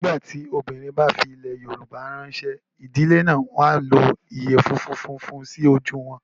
Nígbà tí obìnrin bá fi ilẹ̀ Yorùbá ránṣẹ́, ìdílé náà máa ń lo ìyẹ̀fun funfun sí ojú wọn.